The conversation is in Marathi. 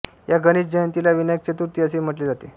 या गणेश जयंतीला विनायक चतुर्थी असेही म्हटले जाते